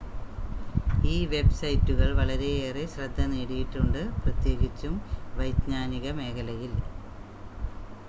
ഈ വെബ്‌സൈറ്റുകൾ വളരെയേറെ ശ്രദ്ധ നേടിയിട്ടുണ്ട് പ്രത്യേകിച്ചും വൈജ്ഞാനിക മേഖലയിൽ